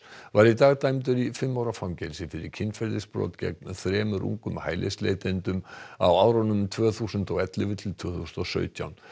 var í dag dæmdur í fimm ára fangelsi fyrir kynferðisbrot gegn þremur ungum hælisleitendum á árunum tvö þúsund og ellefu til tvö þúsund og sautján